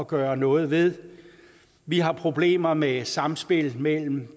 gøre noget ved vi har problemer med sammenspillet mellem